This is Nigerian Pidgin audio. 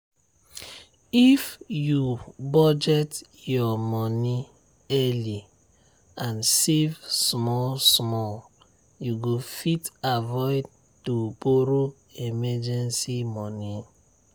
if you budget your moni early and save small small you go fit avoid to borro emergency moni